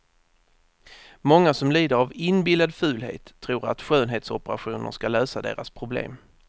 Många som lider av inbillad fulhet tror att skönhetsoperationer ska lösa deras problem.